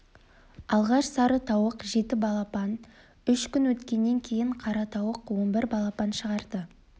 алғаш сары тауық жеті балапан үш күн өткеннен кейін қара тауық он бір балапан шығарды